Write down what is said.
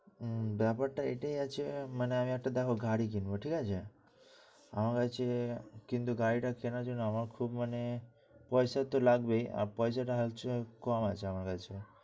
উম ব্যাপারটা এটাই আছে, মানে আমি একটা দেখ গাড়ি কিনবো। ঠিক আছে? আমার কাছে কিন্তু গাড়িটা কেনার জন্য আমার খুব মানে পয়সা তো লাগবেই পয়সাটা আছে, কম আছে আমার কাছে।